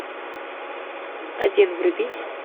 один вруби